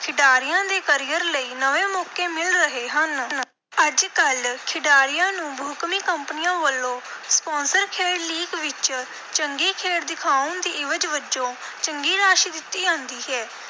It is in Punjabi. ਖਿਡਾਰੀਆਂ ਦੇ career ਲਈ ਨਵੇਂ ਮੌਕੇ ਮਿਲ ਰਹੇ ਹਨ। ਅੱਜ-ਕੱਲ੍ਹ ਖਿਡਾਰੀਆਂ ਨੂੰ ਬਹੁਕੌਮੀ ਕੰਪਨੀਆਂ ਵੱਲੋਂ sponsor ਖੇਡ league ਵਿਚ ਚੰਗੀ ਖੇਡ ਦਿਖਾਉਣ ਦੀ ਇਵਜ਼ ਵਜੋਂ ਚੰਗੀ ਰਾਸ਼ੀ ਦਿੱਤੀ ਜਾਂਦੀ ਹੈ,